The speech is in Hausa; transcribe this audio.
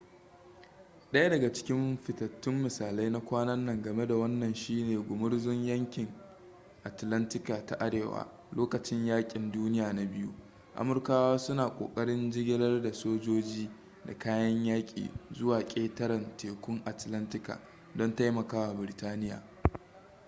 daya daga cikin fitattun misalai na kwana nan game da wannan shine gumurzun yankin atlantika ta arewa lokacin yakin duniya na biyu amurkawa suna ƙoƙarin jigilar da sojoji da kayan yaki zuwa ƙetarentekun atlantika don taimakawa biritaniya